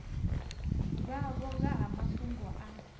vhavho nga ha mafhungo a